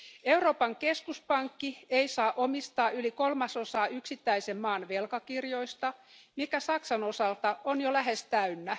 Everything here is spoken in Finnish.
Euroopan keskuspankki ei saa omistaa yli kolmasosaa yksittäisen maan velkakirjoista, mikä Saksan osalta on jo lähes täynnä.